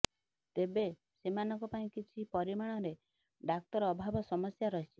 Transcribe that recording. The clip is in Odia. ତେବେ ସେମାନଙ୍କ ପାଇଁ କିଛି ପରିମାଣରେ ଡାକ୍ତର ଅଭାବ ସମସ୍ୟା ରହିଛି